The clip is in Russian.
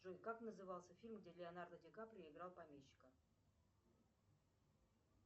джой как назывался фильм где леонардо ди каприо играл помещика